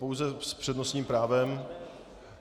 Pouze s přednostním právem.